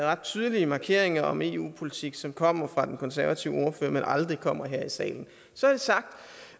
ret tydelige markeringer om eu politik som kommer fra den konservative ordfører men aldrig kommer her i salen så